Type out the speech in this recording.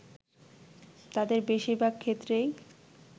তাদের বেশিরভাগ ক্ষেত্রেই